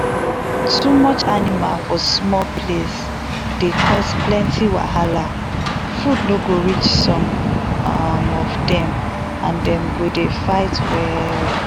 goat house wey clean dey smell well and anybody wey come visit go fit breath well and dem go know say you sabi work.